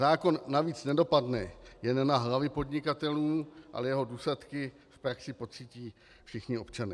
Zákon navíc nedopadne jen na hlavy podnikatelů, ale jeho důsledky v praxi pocítí všichni občané.